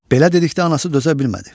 Belə dedikdə anası dözə bilmədi.